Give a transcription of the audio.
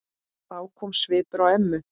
Þá kom svipur á ömmu.